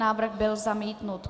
Návrh byl zamítnut.